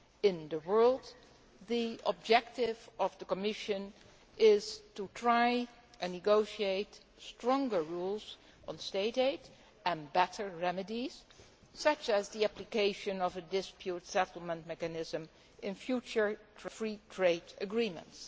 in the world', the objective of the Commission is to try and negotiate stronger rules on state aid and better remedies, such as the application of a dispute settlement mechanism, in future free trade agreements.